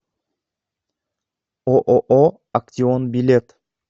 ооо актион билет